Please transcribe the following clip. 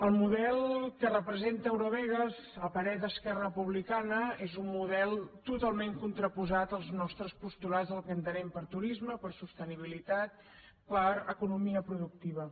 el model que representa eurovegas a parer d’esquerra republicana és un model totalment contraposat als nostres postulats al que entenem per turisme per sostenibilitat per economia productiva